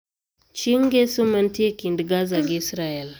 Chieng Ngeso mantie e kind Gaza gi Israel